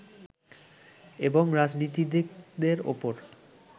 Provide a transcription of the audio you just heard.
এবং রাজনীতিকদের ওপর